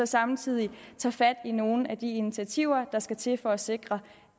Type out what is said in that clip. samtidig tager fat i nogle af de initiativer der skal til for at sikre